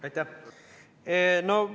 Aitäh!